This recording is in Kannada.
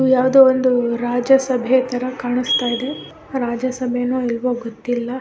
ಇದು ಯಾವ್ದೋ ಒಂದು ರಾಜ್ಯ ಸಭೆ ತರ ಕಾಣಸ್ತ ಇದೆ ರಾಜ್ಯ ಸಭೆನೊ ಇಲ್ವೋ ಗೊತಿಲ್ಲಾ .